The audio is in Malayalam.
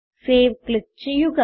സേവ് ക്ലിക്ക് ചെയ്യുക